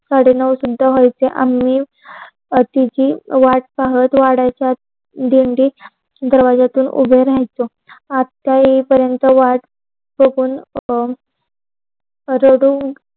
साडेनऊ सुद्धा व्हायचे आम्ही आथिति वाट पाहत वड्याच्या आत भेंडीत दरवाजातून उभे राहायच. आत्या ये पर्यन्त वाट बघून अह रडून